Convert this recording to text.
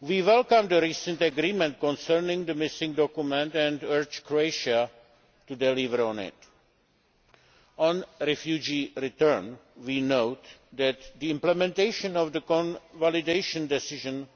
We welcome the recent agreement concerning the missing documents and urge Croatia to deliver on it. On refugee return, we note that the implementation of the convalidation decision